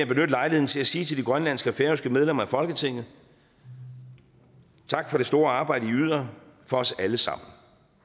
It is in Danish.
benytte lejligheden til at sige til de grønlandske og færøske medlemmer af folketinget tak for det store arbejde i yder for os alle sammen